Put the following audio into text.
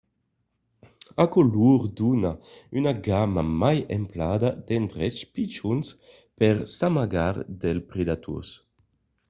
aquò lor dona una gamma mai ampla d’endreches pichons per s’amagar dels predators